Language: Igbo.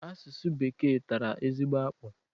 Asụsụ Bekee tara ezigbo akpụ.